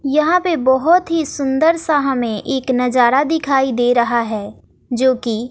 यहां पे बहुत ही सुंदर सा हमें एक नजारा दिखाई दे रहा है जो कि--